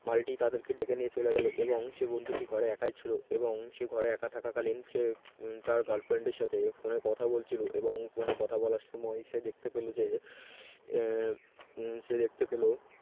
মালিটি তাদেরকে ডেকে নিয়ে চলে গেল এবং সেই বন্ধুটি ঘরে একাই ছিল এবং সে ঘরে একা থাকা কালীন সে তার girlfriend র সাথে phone কথা বলছিল এবং phone কথা বলার সময় সে দেখতে পেল যে উম সে দেখতে পেল